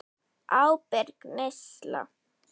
Ábyrg neysla.